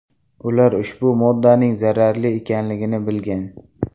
Ular ushbu moddaning zaharli ekanligini bilgan.